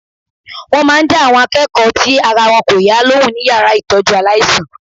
Wọ́n máa dá àwọn akẹ́kọ̀ọ́ tí ara wọn kò yá lóhùn ní yàrá ìtọ́jú aláìsàn.